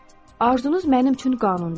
Arzunuz mənim üçün qanundur.